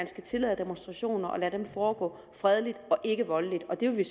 skal tillade demonstrationer og lade dem foregår fredeligt og ikkevoldeligt og det vil